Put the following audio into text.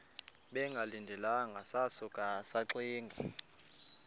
bengalindelanga sasuka saxinga